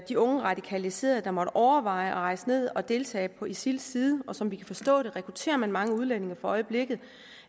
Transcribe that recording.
de unge radikaliserede der måtte overveje at rejse ned og deltage på isils side og som vi kan forstå det rekrutterer man mange udlændinge for øjeblikket